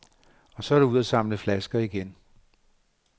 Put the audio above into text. Så er det ud at samle flasker igen.